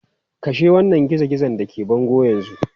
Kashe wannan gizo-gizon da ke bango yanzu!